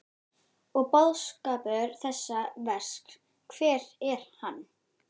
Og boðskapur þessa verks, hver er hann?